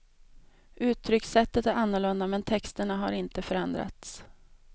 Uttryckssättet är annorlunda men texterna har inte förändrats.